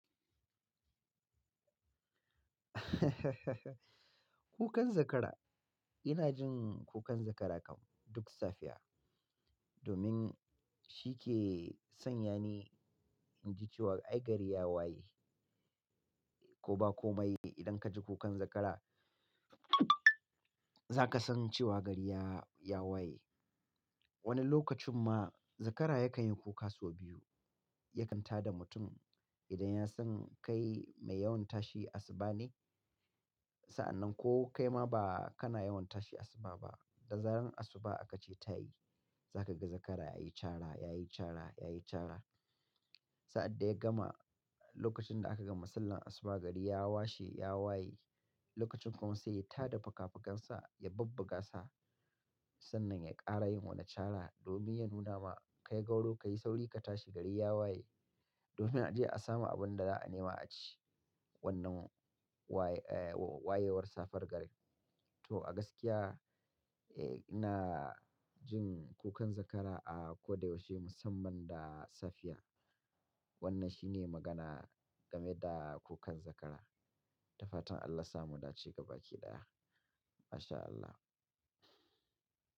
Kukan zakara, ina jin kukan zakara kam duk safiya domin shi ke sanya ni in ji cewa ai gari ya waye. Ko ba komai idan ka ji kukan zakara zaka san cewa gari ya, ya waye. Wani lokacin ma zakara yakan yi kuka sau biyu, yakan ta da mutum idan ya san kai mai yawan tashi asuba ne. Sa'annan ko kai ma ba kana yawan tashi asuba ba, da zaran asuba aka ce tayi, za kaga zakara ya yi cara, ya yi cara, ya yi cara. Sa'ad da ya gama, lokacin da aka gama sallar asuba gari ya washe, ya waye. Lokacin kuma sai ya ta da faka-fakansa, ya bubbuga sa sannan ya ƙara yin wani cara domin ya nuna ma kai gauro ka yi sauri ka tashi gari ya waye. Domin a je a samu abin da za a nema a ci wannan waye, eh wayewar safiyar gari. To a gaskiya, eh ina jin kukan zakara a ko da ya wuce musamman da safiya. Wannan shi ne magana game da kukan zakara. Da fatan Allah yasa mu dace gaba ki ɗaya. MashAllah.